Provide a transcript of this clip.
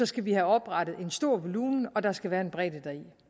skal vi have oprettet en stor volumen og der skal være en bredde deri